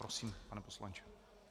Prosím, pane poslanče.